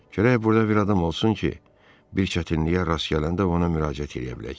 Gərək burda bir adam olsun ki, bir çətinliyə rast gələndə ona müraciət eləyə bilək.